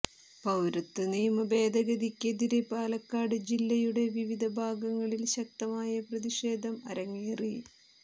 പൌരത്വ നിയമ ഭേദഗതിക്കെതിരെ പാലക്കാട് ജില്ലയുടെ വിവിധ ഭാഗങ്ങളിൽ ശക്തമായ പ്രതിഷേധം അരങ്ങേറി